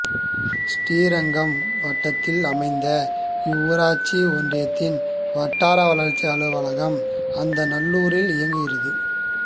ஸ்ரீரங்கம் வட்டத்தில் அமைந்த இவ்வூராட்சி ஒன்றியத்தின் வட்டார வளர்ச்சி அலுவலகம் அந்தநல்லூரில் இயங்குகிறது